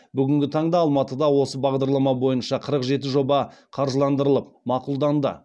бүгінгі таңда алматыда осы бағдарлама бойынша қырық жеті жоба қаржыландырылып мақұлданды